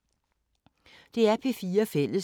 DR P4 Fælles